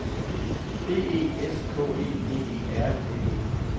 B E S K E D E R N E